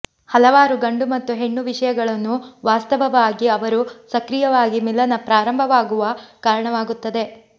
ಹಲವಾರು ಗಂಡು ಮತ್ತು ಹೆಣ್ಣು ವಿಷಯಗಳನ್ನು ವಾಸ್ತವವಾಗಿ ಅವರು ಸಕ್ರಿಯವಾಗಿ ಮಿಲನ ಪ್ರಾರಂಭವಾಗುವ ಕಾರಣವಾಗುತ್ತದೆ